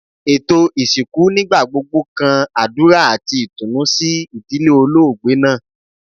Eto isinku nigbagbogbo kan adura ati itunu si idile oloogbe naa